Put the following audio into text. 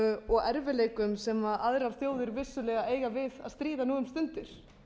og erfiðleikum sem aðrir þjóðir vissulega eiga við að stríða nú um stundir